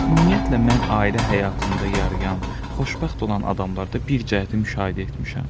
Ümumiyyətlə mən ailə həyatında yarıyan, xoşbəxt olan adamlarda bir cəhəti müşahidə etmişəm.